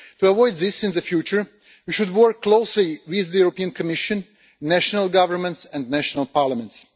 To avoid this in the future, we should work closely with the Commission, national governments and national parliaments.